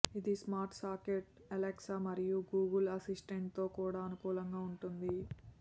ఇది smart socket Alexa మరియు Google అసిస్టెంట్తో కూడా అనుకూలంగా ఉంటుంది